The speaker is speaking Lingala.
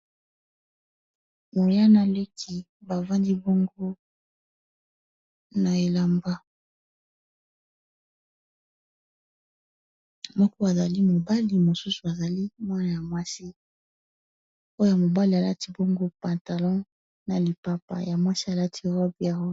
Yaya na leki bavandi bongo na elamba moko azali mobali mususu azali mwana mwasi, oyo ya mobali alati patalon n'a lipapa ya mwasi alati robe ya rose.